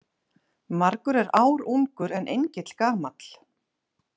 Margur er ár ungur en engill gamall.